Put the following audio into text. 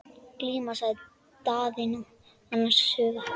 Glíma, sagði Daðína annars hugar.